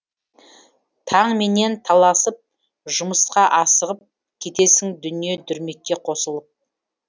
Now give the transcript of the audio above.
таңменен таласып жұмысқа асығып кетесің дүние дүрмекке қосылып